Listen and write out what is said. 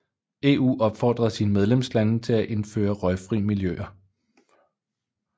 EU opfordede sine medlemslande til at indføre røgfri miljøer